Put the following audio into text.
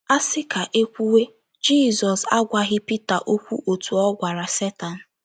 A sị ka e kwuwe, Jizọs agwaghị Pita okwu otú ọ gwara Setan.